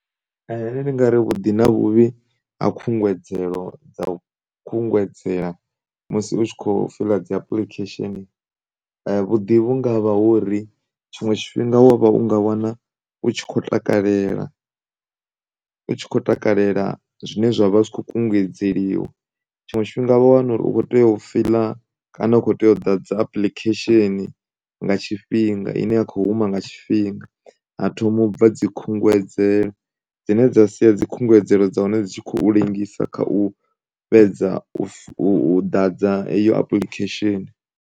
Nṋe ndi ngari vhuḓi na vhuvhi ha khungedzelo dzo khungwedzela musi u tshi kho fiḽa dziapuḽikhesheni vhuḓi vhungavha hori tshiṅwe tshifhinga wovha u nga wana u tshi kho takalela u tshi kho takalela zwine zwa ngavha zwi kho khungedzeliwa, tshiṅwe tshifhinga wa wana uri u kho tea u fiḽa kana u kho tea u ḓadza apuḽikhesheni nga tshifhinga ine ya kho huma nga tshifhinga ha thoma u bva dzikhunguwedzelo dzine dza sia dzikhunguwedzelo dza hone dzi tshi khou lengisa kha u fhedza u u, u, u ḓadza eyo apuḽikhesheni.